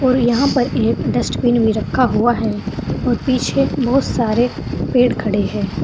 और यहां पर एक डस्टबिन में रखा हुआ है और पीछे बोहोत सारे पेड़ खड़े हैं।